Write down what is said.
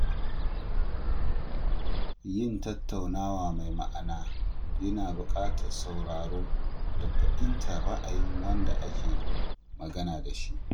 Yin tattaunawa mai ma’ana yana buƙatar sauraro da fahimtar ra’ayin wanda ake magana da shi.